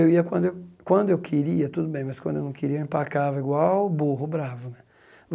Eu ia quando eu quando eu queria, tudo bem, mas quando eu não queria, eu empacava igual o burro bravo né.